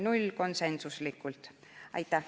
Aitäh!